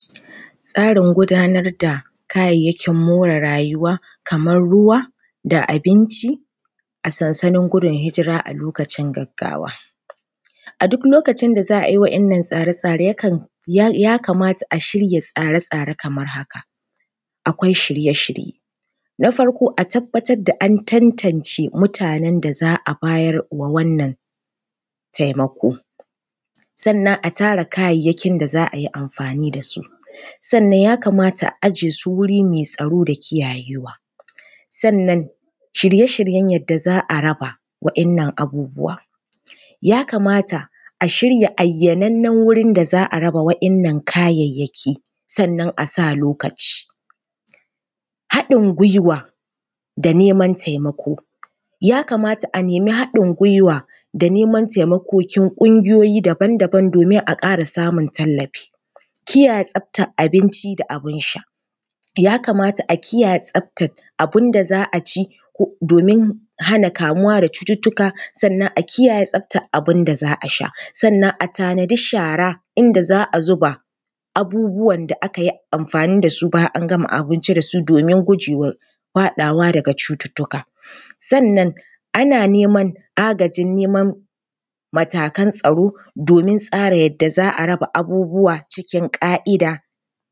Tsarin gudanar da kayayyakin more rayuwa kamar ruwa da abinci a sansanin gudun hijira a lokacin gaggawa. A duk lokacin da za a yi waɗannan tsare-tsare, yakan… ya kamata a shirya wasu tsare-tsare kamar haka: akwai shirye-shirye, na farko a tabbatar da an tantance mutanen da za a bayarwa wannan taimako, sannan a tara kayayyakin da za a yi amfani da su. Sannan ya kamata a aje su wuri mai tsaro da kiyayewa. Sannan shirye-shiryen yadda za a raba waɗannan abubuwa. Ya kamata a shirya ayyanannen wurin da za a raba waɗannan kayayyaki, sannan a sa lokaci. haɗin gwiwa da neman taimako, ya kamata a nemi haɗin gwiwa da neman taimakokin ƙungiyoyi daban daban domin a ƙara samun tallafi. Kiyaye tsaftar abinci da abin sha, ya kamata a kiyaye tsaftar abin da za a ci domin hana kamuwa da cututtuka sannan a kiyaye tsaftar abin da za a sha sannan a tanadi shara, inda za a zuba abubuwan da aka yi amfani da su bayan an gama abinci da su domin guje wa faɗawa daga cututtuka. Sannan ana neman agajin neman matakan tsaro domin tsara yadda za a raba abubuwa cikin ƙa’ida.